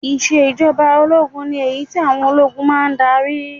Ìṣe ìjọba ológun ni èyí tí àwọn ológun máa ń darí